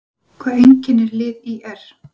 Hvað einkennir lið ÍR?